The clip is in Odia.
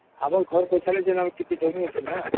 ଆମର ଘର ଅପଚାରେ ଯେନ୍ତା ଜମି ଅଛି ନ